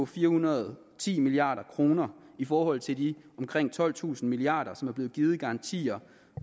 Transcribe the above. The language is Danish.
fire hundrede og ti milliard kroner i forhold til de omkring tolvtusind milliard kr som er blevet givet i garantier